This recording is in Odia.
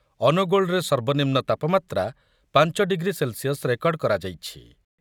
ଅନୁଗୋଳରେ ସର୍ବନିମ୍ନ ତାପମାତ୍ରା ପାଞ୍ଚ ଡିଗ୍ରୀ ସେଲ୍ସିୟସ୍ ରେକର୍ଡ କରାଯାଇଛି ।